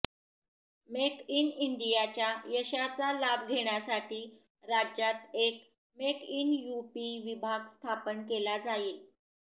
make in इंडियाच्या यशाचा लाभ घेण्यासाठी राज्यात एक मेक इन युपी विभाग स्थापन केला जाईल